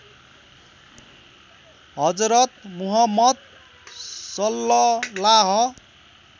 Hazrat Muhammad सल्लल्लाह